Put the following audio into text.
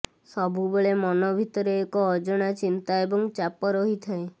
ସବୁବେଳେ ମନ ଭିତରେ ଏକ ଅଜଣା ଚିନ୍ତା ଏବଂ ଚାପ ରହିଥାଏ